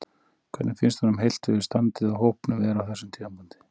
Hvernig finnst honum heilt yfir standið á hópnum vera á þessum tímapunkti?